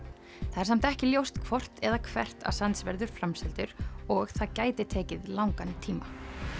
það er samt ekki ljóst hvort eða hvert verður framseldur og það gæti tekið langan tíma